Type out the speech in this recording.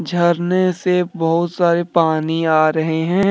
झरने से बहोत सारे पानी आ रहे हैं।